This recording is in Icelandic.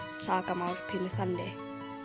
sakamál pínu þannig